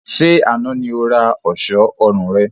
Ṣé àna ni ó ra ọ̀ṣọ́ ọrùn rẹ?